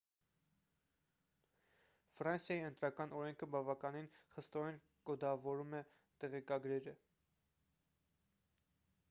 ֆրանսիայի ընտրական օրենքը բավականին խստորեն կոդավորում է տեղեկագրերը